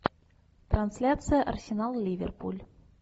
трансляция арсенал ливерпуль